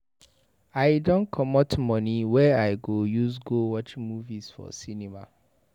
I don comot moni wey I go use go watch movie for cinema.